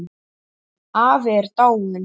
Afi er dáinn.